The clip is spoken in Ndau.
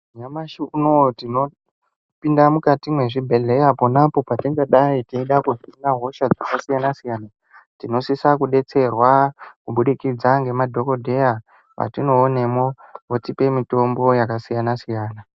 Nyamashi unowu tinopinda mukati mezvibhedhlera pona apo patingadai hosha dzakasiyana siyana tinosisa kudetserwa kubudikidza nemadhokodheya watonoonamo votipawo mitombo yakasiyana siyana.